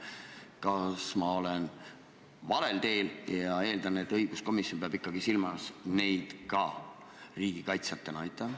Kas ma olen valel teel ja õiguskomisjon peab ikkagi ka neid silmas riigikaitsjatena?